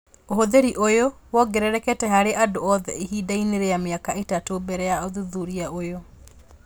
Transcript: Ũhũthĩri ũyũ wongererekete harĩ andũ othe ihinda inĩ rĩa mĩaka ĩtatũ mbele ya ũthuthuria ũyũ